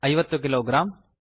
50 kilogram